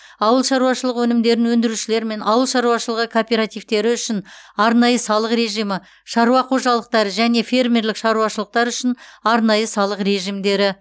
ауыл шаруашылығы өнімдерін өндірушілер мен ауыл шаруашылығы кооперативтері үшін арнайы салық режимі шаруа қожалықтары және фермерлік шаруашылықтар үшін арнайы салық режимдері